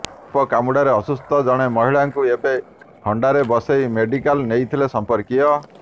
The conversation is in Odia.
ସାପ କାମୁଡ଼ାରେ ଅସୁସ୍ଥ ଜଣେ ମହିଳାଙ୍କୁ ଏକ ହଣ୍ଡାରେ ବସେଇ ମେଡିକାଲ ନେଇଥିଲେ ସଂପର୍କୀୟ